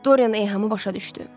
Doryan eyhamı başa düşdü.